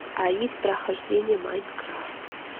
аид прохождение майнкрафт